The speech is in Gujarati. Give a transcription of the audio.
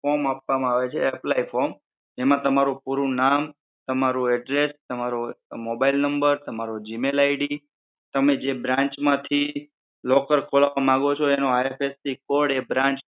form આપવા માં આવે છે apply form જેમાં તમારું પૂરું નામ, તમારું address, તમારો mobile number, તમારો gmail ID તમે જે bankbranch માંથી locker ખોલાવ માંગો છો એનો IFSC code એ branch